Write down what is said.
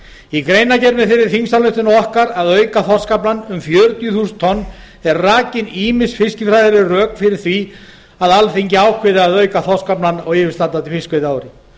í greinargerð með þeirri þingsályktunartillögu okkar að auka þorskaflann um fjörutíu þúsund tonn eru rakin ýmis fiskifræðileg rök fyrir því að alþingi ákveði að auka þorskaflann á yfirstandandi fiskveiðiári